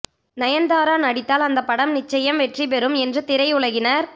நயன்தாரா நடித்தால் அந்த படம் நிச்சயம் வெற்றி பெறும் என்று திரை உலகினர்